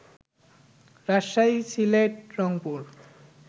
Rajshahi, Sylhet, Rangpur